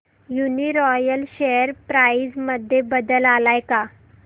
Uniroyal share price मध्ये बदल आलाय का